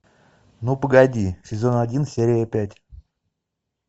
ну погоди сезон один серия пять